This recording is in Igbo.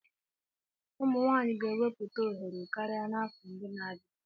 Ụmụ nwanyị ga-ewepụta ohere karịa n'afọ ndị na-abịa.